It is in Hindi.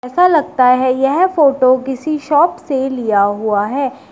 ऐसा लगता है यह फोटो किसी शॉप से लिया हुआ है।